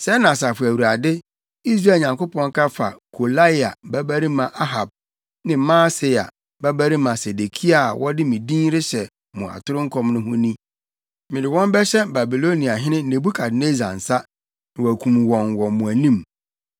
Sɛɛ na Asafo Awurade, Israel Nyankopɔn ka fa Kolaia babarima Ahab ne Maaseia babarima Sedekia a wɔde me din rehyɛ mo atoro nkɔm no ho ni: “Mede wɔn bɛhyɛ Babiloniahene Nebukadnessar nsa, na wakum wɔn wɔ mo anim.